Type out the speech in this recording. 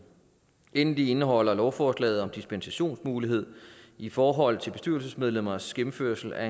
endelig indeholder lovforslaget en dispensationsmulighed i forhold til bestyrelsesmedlemmers gennemførelse af